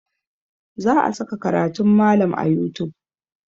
Za a saka karatun malam a youtube.